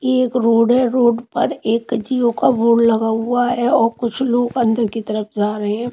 ये एक रोड है रोड पर एक जीओ का बोर्ड लगा हुआ है और कुछ लोग अंदर की तरफ जा रहे हैं।